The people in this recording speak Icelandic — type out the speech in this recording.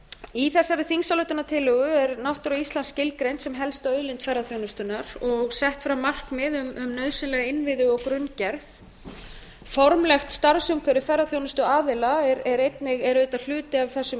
í þessari þingsályktunartillögu er náttúra íslands skilgreind sem helsta auðlind ferðaþjónustunnar og sett fram markmið um nauðsynlega innviði og grunngerð formlegt starfsumhverfi ferðaþjónustuaðila er auðvitað hluti af þessum